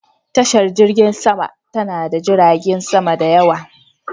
Tashar jirgin sama ta na da jiragen sama da yawa.